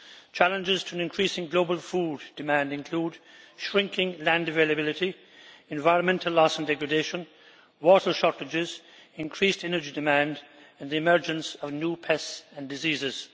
Challenges to an increasing global food demand include shrinking land availability, environmental loss and degradation, water shortages, increased energy demand and the emergence of new pests and diseases.